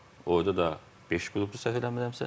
Orada da beş qrupdur səhv eləmirəmsə.